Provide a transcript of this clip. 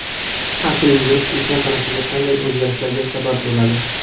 Har kuni yugurish inson tanasida qanday o‘zgarishlarga sabab bo‘ladi?.